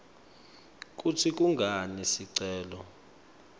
kutsi kungani sicelo